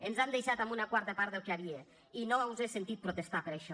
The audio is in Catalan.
ens han deixat amb una quarta part del que hi havia i no us he sentit protestar per això